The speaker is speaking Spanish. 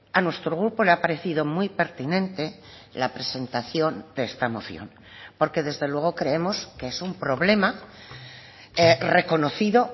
a nuestro grupo le ha parecido muy pertinente la presentación de esta moción porque desde luego creemos que es un problema reconocido